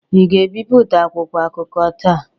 Ị ga-ebipụta akwụkwọ akụkọ taa?